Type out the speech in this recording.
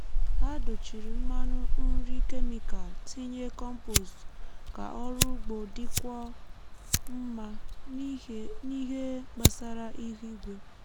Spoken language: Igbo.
ha dochiri mmanụ nri kemịkal tinye kọmpost ka ọrụ ugbo dịkwuo mma n’ihe gbasara ihu igwe.